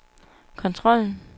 kontrollen